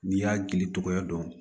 N'i y'a gili tɔgɔya dɔn